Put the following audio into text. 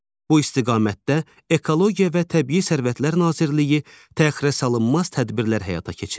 Bu istiqamətdə Ekologiya və Təbii Sərvətlər Nazirliyi təxirəsalınmaz tədbirlər həyata keçirir.